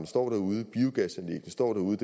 står derude biogasanlæggene står derude